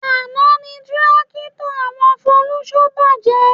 Àná ni tírákítọ̀ àwọn Folúṣọ́ bàjẹ́